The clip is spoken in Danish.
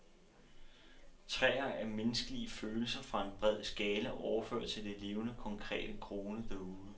Træer er menneskelige følelser fra en bred skala, overført til det levende, konkrete, groende derude.